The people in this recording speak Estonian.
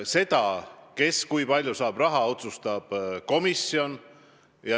Seda, kes ja kui palju raha saab, otsustab komisjon.